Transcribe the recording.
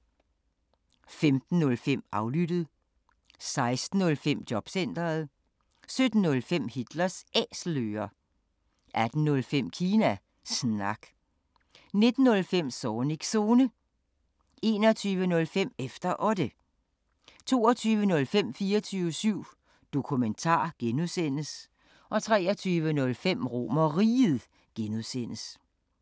15:05: Aflyttet 16:05: Jobcentret 17:05: Hitlers Æselører 18:05: Kina Snak 19:05: Zornigs Zone 21:05: Efter Otte 22:05: 24syv Dokumentar (G) 23:05: RomerRiget (G)